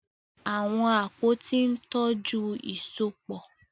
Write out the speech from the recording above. Àwọn àpótí ń tọ́jú ìsopọ̀.